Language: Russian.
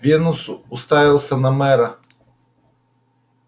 венус уставился на мэра